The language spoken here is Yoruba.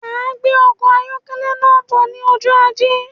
Máa gbé ọkọ ayọkẹlẹ náà bọ̀ ní ọjọ ajé